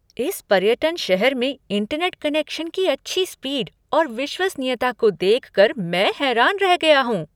इस पर्यटन शहर में इंटरनेट कनेक्शन की अच्छी स्पीड और विश्वसनीयता को देख कर मैं हैरान रह गया हूँ।